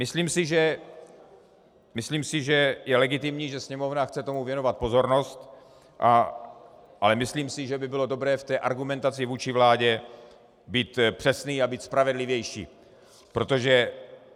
Myslím si, že je legitimní, že Sněmovna chce tomu věnovat pozornost, ale myslím si, že by bylo dobré v té argumentaci vůči vládě být přesný a být spravedlivější, protože...